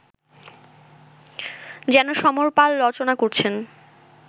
যেন সমর পাল রচনা করেছেন